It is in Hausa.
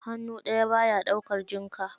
Hannu daya baya daukar jinka.